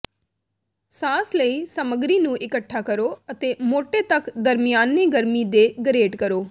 ਸਾਸ ਲਈ ਸਾਮੱਗਰੀ ਨੂੰ ਇਕੱਠਾ ਕਰੋ ਅਤੇ ਮੋਟੇ ਤਕ ਦਰਮਿਆਨੇ ਗਰਮੀ ਤੇ ਗਰੇਟ ਕਰੋ